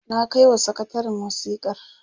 na kaiwa sakatarin wasikar